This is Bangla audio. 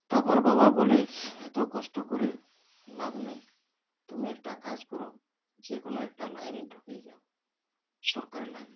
তারপর বাবা বলে BREATHE এত কষ্ট করে লাভ নেই তুমি একটা কাজ করো যেকোনো একটা line -এ ঢুকে যাও সরকারি line -এ